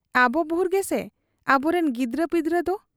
ᱟᱵᱚ ᱵᱷᱩᱨ ᱜᱮᱥᱮ ᱾ ᱟᱵᱚᱨᱤᱱ ᱜᱤᱫᱽᱨᱟᱹᱯᱤᱫᱽᱨᱟᱹ ᱫᱚ ?